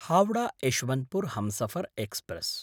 Howrah-Yesvantpur Humsafar express